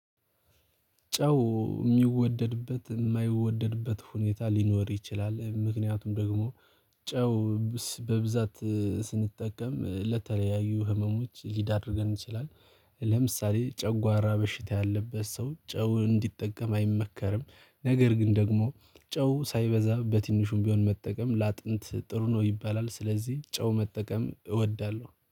ጨው የሚወደድበት የማይወደድበት ሁኔታ ሊኖር ይችላል ምክንያቱም ደግሞ ጨው በብዛት ስንጠቀም ለተለያዩ ህመሞች ሊዳርገን ይችላል። ጨጓራ በሽታ ያለበት ሰው ጨው እንዲጠቀም አይመከርም። ነገር ግን ደግሞ ጨው ሳይበዛ በትንሹም ቢሆን መጠቀም ለአጥንት ጥሩ ነው ይባላል። ስለዚህ ጨው መጠቀም እወዳለሁ